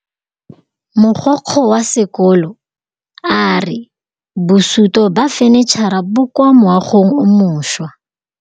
Mogokgo wa sekolo a re bosutô ba fanitšhara bo kwa moagong o mošwa.